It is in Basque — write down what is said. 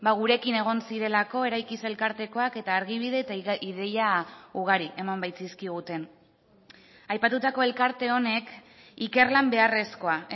gurekin egon zirelako eraikiz elkartekoak eta argibide eta ideia ugari eman baitzizkiguten aipatutako elkarte honek ikerlan beharrezkoa